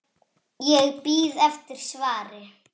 Ég bíð eftir svari.